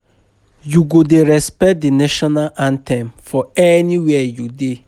You go dey respect di national anthem for anywhere you dey.